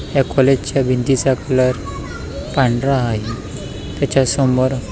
या काॅलेज च्या भिंतीचा कलर पांढरा आहे त्याच्या समोर --